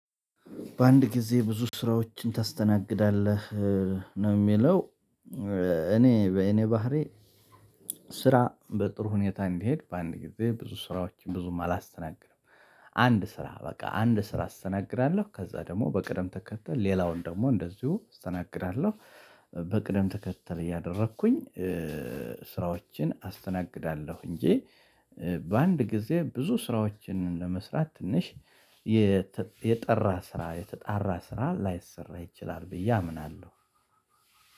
በአንድ ጊዜ ብዙ ስራዎችን ታስተናግዳለህ ነው የሚለው? እኔ በእኔ ባህሪ ስራ በጥሩ ሁኔታ እንዲሄድ በአንድ ጊዜ ብዙ ስራዎችን ብዙም አላስተናገደም። አንድ ስራ በቃ አንድ ስራ አስተናግዳለሁ ከዛ ደግሞ በቅደም ተከተል ሌላውን ደግሞ እንደዚሁ አስተናግዳለሁ። በቅደም ተከተል እያደረኩኝ ስራዎችን አስተናግዳለሁ እንጂ። በአንድ ጊዜ ብዙ ስራዎችን ለመስራት ትንሽ የጠራ ስራ የተጣራ ስራ ላይሰራ ይችላል ብዬ አምናለሁ።